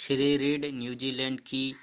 Shri Reid New Zealand की